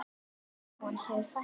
Útibúum hefur fækkað mjög.